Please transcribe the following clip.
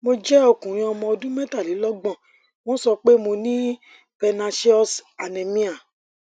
mo jẹ okunrin ọmọ ọdún metalelogbon wọn so pe mo ní pernecious anemia